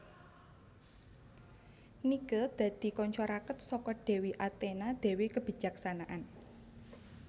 Nike dadi kanca raket saka dewi Athena dewi kebijaksanaan